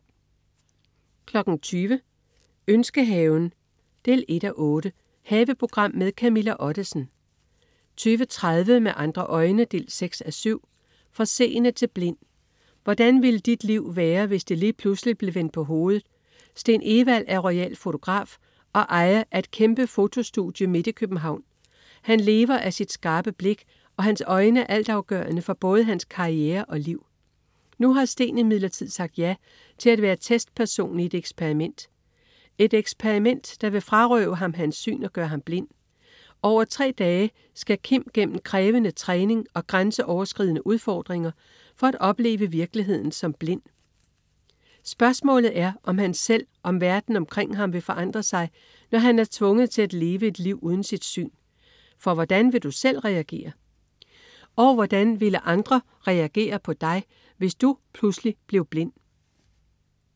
20.00 Ønskehaven 1:8. Haveprogram med Camilla Ottesen 20.30 Med andre øjne 6:7. Fra seende til blind. Hvordan ville dit liv være, hvis det lige pludselig blev vendt på hovedet? Steen Evald er royal fotograf og ejer af et kæmpe fotostudie midt i København. Han lever af sit skarpe blik, og hans øjne er altafgørende for både hans karriere og liv. Nu har Steen imidlertid sagt ja til at være testperson i et eksperiment, et eksperiment, der vil frarøve ham hans syn og gøre ham blind. Over tre dage skal Kim gennem krævende træning og grænseoverskridende udfordringer for at opleve virkeligheden som blind. Spørgsmålet er, om han selv og om verden omkring ham vil forandre sig, når han er tvunget til at leve et liv uden sit syn. For hvordan ville du selv reagere, og hvordan ville andre reagere på dig, hvis du pludselig blev blind?